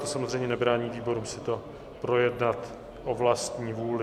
To samozřejmě nebrání výborům si to projednat o vlastní vůli.